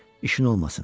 İşin olmasın.